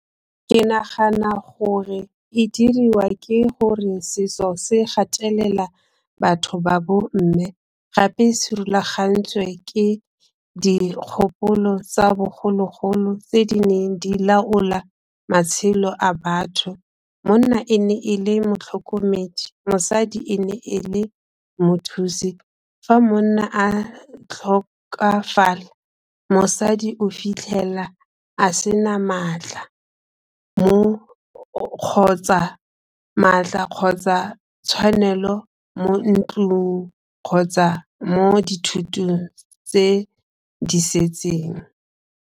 Ke nagana gore e diriwa ke gore setso se gatelela batho ba bomme gape se rulagantswe ke dikgopolo tsa bogologolo tse di neng di laola matshelo a batho. Monna e ne e le motlhokomedi, mosadi e ne e le mothusi fa monna a tlhokafala, mosadi o fitlhela a se na maatla kgotsa tshwanelo mo ntlong kgotsa mo dithotong tse di setseng.